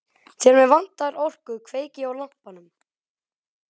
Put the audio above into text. Þegar mig vantar orku kveiki ég á lampanum.